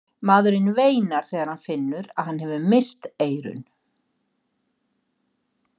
Maðurinn veinar þegar hann finnur að hann hefur misst eyrun.